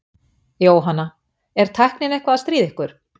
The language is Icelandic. Jóhanna: Er tæknin eitthvað að stríða ykkur?